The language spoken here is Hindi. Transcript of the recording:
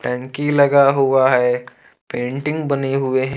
टंकी लगा हुआ है एक पेंटिंग बनी हुए--